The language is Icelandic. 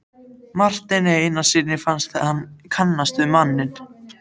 Marteini Einarssyni fannst hann kannast við manninn.